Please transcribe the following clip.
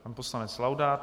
Pan poslanec Laudát.